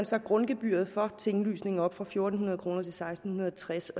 så grundgebyret for tinglysning op fra fire hundrede kroner til seksten tres